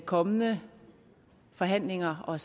kommende forhandlinger og